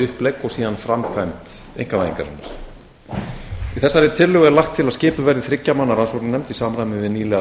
upplegg og síðan framkvæmd einkavæðingarinnar í þessari tillögu er lagt til að að skipuð verði þriggja manna rannsóknarnefnd í samræmi við nýlega